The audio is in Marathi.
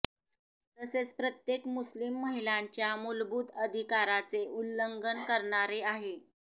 तसेच प्रत्येक मुस्लिम महिलांच्या मूलभूत अधिकाराचे उल्लंघन करणारे आहे